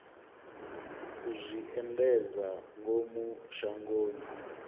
u zwi endedza ngomu shangoni